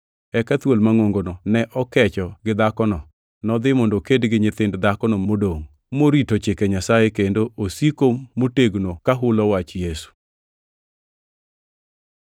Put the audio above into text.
Eka thuol mangʼongono ne okecho gi dhakono, nodhi mondo oked gi nyithind dhakono modongʼ, morito chike Nyasaye kendo osiko motegno kahulo wach Yesu.